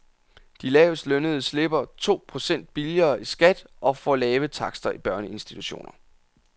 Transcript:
De lavest lønnede slipper to procent billigere i skat og får lave takster i børneinstitutioner.